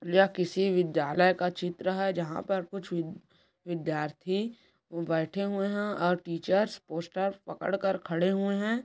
यह किसी विद्यालय का चित्र है जहाँ पर कुछ विद्य-विद्यार्थी बैठे हुए हैंऔर टीचर्स पोस्टर्स पकड़ कर खड़े हुए हैं।